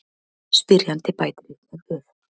Spyrjandi bætir einnig við: